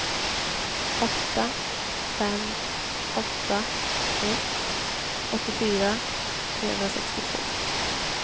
åtta fem åtta ett åttiofyra trehundrasextiotvå